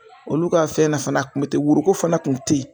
Olu ka fɛn na fana a kun mi te woroko fana kun teyi.